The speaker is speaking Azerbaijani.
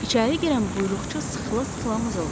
İçəri girən buyruqçu sıxıla-sıxıla mızıldandı.